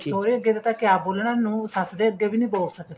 ਸਹੁਰੇ ਅੱਗੇ ਪਤਾ ਕਿਹਾ ਬੋਲਣਾ ਨੂੰਹ ਸ਼ੱਸ਼ ਦੇ ਅੱਗੇ ਵੀ ਨਹੀਂ ਬੋਲ ਸਕਦੀ ਸੀ